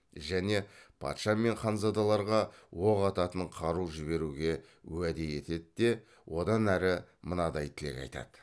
және патша мен ханзадаларға оқ ататын қару жіберуге уәде етеді де одан әрі мынадай тілек айтады